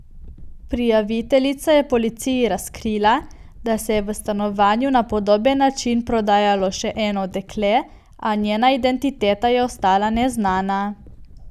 Prijaviteljica je policiji razkrila, da se je v stanovanju na podoben način prodajalo še eno dekle, a njena identiteta je ostala neznana.